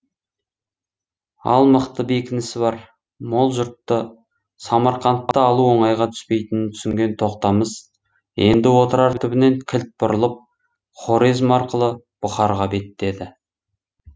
ал мықты бекінісі бар мол жұртты самарқантты алу оңайға түспейтінін түсінген тоқтамыс енді отырар түбінен кілт бұрылып хорезм арқылы бұхарға беттеді